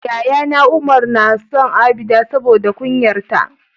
yayana Umar nason abida saboda kunyar ta